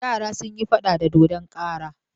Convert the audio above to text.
Yara sun yi faɗa da dodon kara.